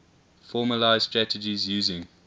formalised strategies using